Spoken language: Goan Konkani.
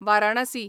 वारणासी